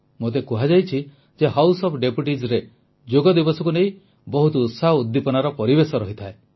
ମୋତେ କୁହାଯାଇଛି ଯେ ହାଉସ ଓଏଫ୍ Deputiesରେ ଯୋଗ ଦିବସକୁ ନେଇ ବହୁତ ଉତ୍ସାହ ଉଦ୍ଦୀପନାର ପରିବେଶ ରହିଥାଏ